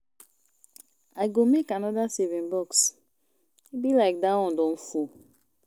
I go make another saving box e be like dat one don full